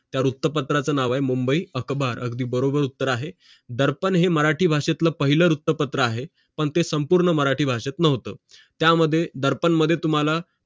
त्या वृत्तपत्राचं नाव आहे मुंबई अखबार अगदी बरोबर उत्तर आहे दर्पण हे मराठी भाषेतलं पहिलं उत्तम पत्र आहे पण ते संपूर्ण मराठी भाषेत नव्हतं त्यामध्ये दर्पण मध्ये तुम्हांला